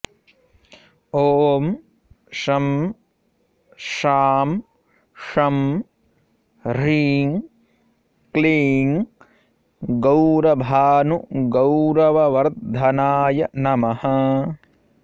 ॐ शं शां षं ह्रीं क्लीं गौरभानुगौरववर्धनाय नमः